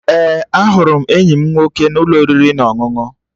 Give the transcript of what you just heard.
Ee, ahụrụ m enyi m nwoke n'ụlọ oriri na ọṅụṅụ